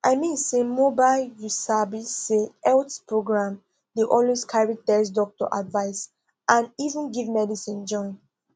i mean say mobile you sabi say health programndey always carry test doctor advice and even give medicine join